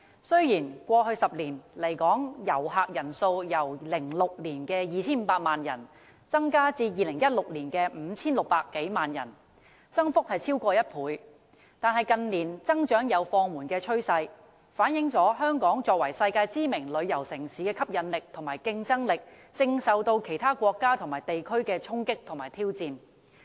雖然在過去10年，來港旅客人數由2006年的 2,500 萬人次增至2016年的 5,600 多萬人次，增幅超過1倍，但近年增長有放緩趨勢，反映香港作為世界知名旅遊城市的吸引力和競爭力，正受到其他國家和地區的衝擊和挑戰。